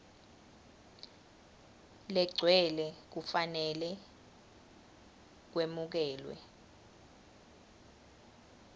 legcwele kufanele kwemukelwe